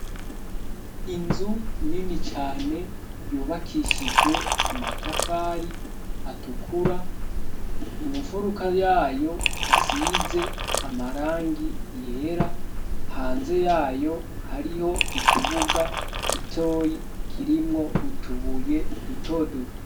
Inzu nini cane yubakishijwe amatafari atukura. Mu mfuruka yayo, hasize amarangi yera. Hanze yayo, hariho ikibuga gitoyi kirimwo utubuye duto duto.